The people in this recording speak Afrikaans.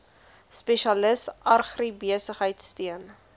spesialis agribesigheid steun